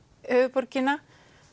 höfuðborgina